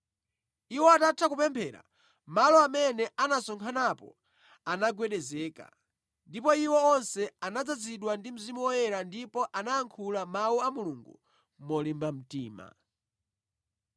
Iwo atatha kupemphera, malo amene anasonkhanapo anagwedezeka. Ndipo iwo onse anadzazidwa ndi Mzimu Woyera ndipo anayankhula Mawu a Mulungu molimba mtima.